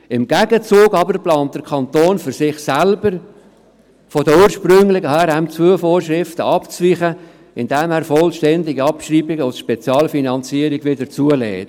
Im Gegenzug aber plant der Kanton für sich selbst, von der ursprünglichen HRM2-Vorschriften abzuweichen, indem er vollständige Abschreibungen aus Spezialfinanzierungen wieder zulässt.